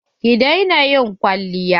Ki daina ƴin kwalliya.